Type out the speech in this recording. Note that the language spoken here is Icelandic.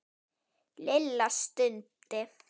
Lilla stundi.